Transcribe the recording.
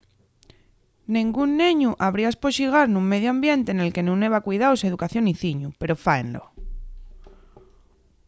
nengún neñu habría espoxigar nun mediu ambiente nel que nun heba cuidaos educación y ciñu pero fáenlo